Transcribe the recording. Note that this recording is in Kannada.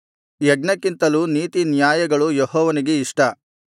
ಯಜ್ಞಕ್ಕಿಂತಲೂ ನೀತಿನ್ಯಾಯಗಳು ಯೆಹೋವನಿಗೆ ಇಷ್ಟ